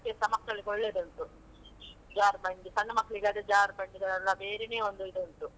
ಆಡ್ಲಿಕ್ಕೆಸ ಮಕ್ಕಳಿಗೆ ಒಳ್ಳೆದುಂಟು, ಜಾರ್ಬಂಡಿ ಸಣ್ಣ ಮಕ್ಳಿಗಾದ್ರೆ ಜಾರ್ಬಂಡಿಗಳೆಲ್ಲ ಬೇರೆನೇ ಒಂದು ಇದು ಉಂಟು.